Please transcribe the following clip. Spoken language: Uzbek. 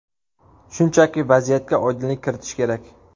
Shunchaki vaziyatga oydinlik kiritish kerak.